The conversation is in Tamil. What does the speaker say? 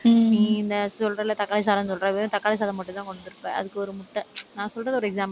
உம் நீ இந்த சொல்றேல்ல தக்காளி சாதம்ன்னு சொல்ற, வெறும் தக்காளி சாதம் மட்டும்தான் கொணடு வந்திருப்பே. அதுக்கு ஒரு முட்டை நான் சொல்றது ஒரு example க்கு